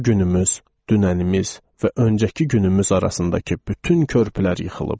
Bu günümüz, dünənimiz və öncəki günümüz arasındakı bütün körpülər yıxılıb.